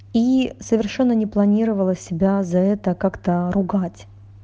и совершенно не планировала себя за это как-то ругать